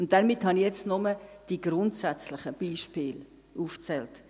Und damit habe ich jetzt nur die grundsätzlichen Beispiele aufgezählt.